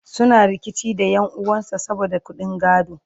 suna rikici da ƴan'uwan sa saboda ƙuɗin gado